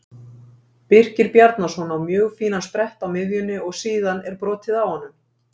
Birkir Bjarnason á mjög fínan sprett á miðjunni og síðan er brotið á honum.